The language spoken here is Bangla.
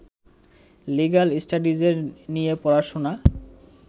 লিগ্যাল স্টাডিজের নিয়ে পড়াশোনা